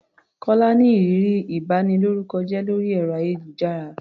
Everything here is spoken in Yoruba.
Kọ́lá ní ìrírí ìbanilórúkọjẹ́ lórí ẹ̀rọ-ayélujára.